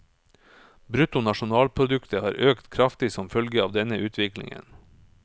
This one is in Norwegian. Bruttonasjonalproduktet har øket kraftig som følge av denne utviklingen.